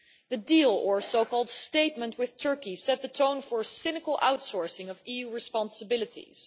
The deal, or so called Statement, with Turkey, set the tone for cynical outsourcing of EU responsibilities.